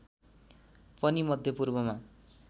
पनि मध्य पूर्वमा